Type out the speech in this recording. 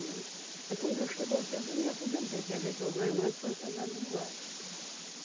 Né? Aí quando chegou o tempo eu me aposentei, quer dizer que eu ganho mais do que o soldado da borracha.